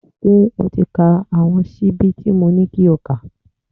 Ṣé o ti ka àwọn ṣíbí tí mo ní kí o kà?.